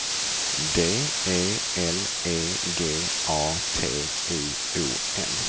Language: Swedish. D E L E G A T I O N